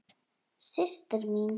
Systir mín.